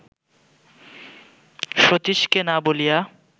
সতীশকে না বলিয়া